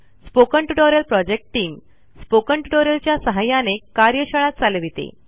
spoken tutorial project team spoken tutorial च्या सहाय्याने कार्यशाळा चालविते